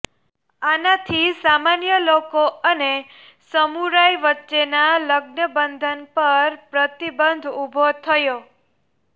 આનાથી સામાન્ય લોકો અને સમુરાઇ વચ્ચેના લગ્નબંધન પર પ્રતિબંધ ઉભો થયો